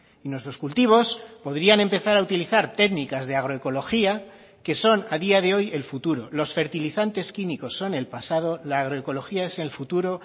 y nuestros cultivos podrían empezar a utilizar técnicas de agroecología que son a día de hoy el futuro los fertilizantes químicos son el pasado la agroecología es el futuro